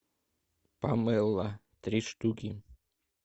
помело три штуки